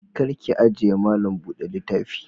Kar ki ajiye malam bude littafi.